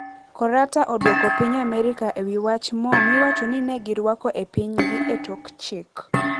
Korata odwoko piny Amerika ewi wach moo miwachoni negirwako e pinjgi e tok chik.